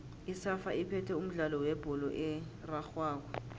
isafa iphethe umdlalo webholo erarhwako